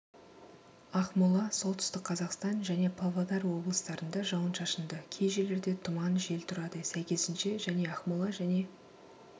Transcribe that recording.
ақмола солтүстік қазақстан және павлодар облыстарында жауын-шашынды кей жерлерде тұман жел тұрады сәйкесінше және ақмола және